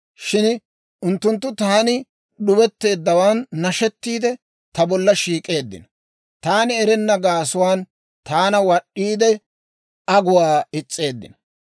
Shin unttunttu taani d'ubetteeddawaan nashettiide, ta bolla shiik'eeddino. Taani erenna gaasuwaan taana wad'd'iide, aguwaa is's'eeddino.